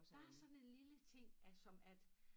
Bare sådan en lille ting at som at